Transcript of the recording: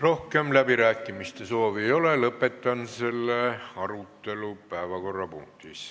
Rohkem läbirääkimiste soovi ei ole, lõpetan selle päevakorrapunkti arutelu.